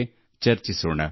ದೇಶದಲ್ಲಿ ಅವರ ಪ್ರಯತ್ನದ ಮೂಲಕ